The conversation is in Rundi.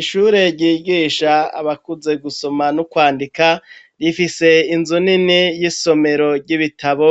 Ishure ryigisha abakuze gusoma n'ukwandika, ifise inzu nini y'isomero ry'ibitabo,